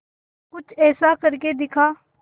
कुछ ऐसा करके दिखा